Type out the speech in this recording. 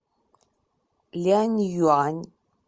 ляньюань